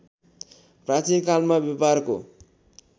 प्राचीन कालमा व्यापारको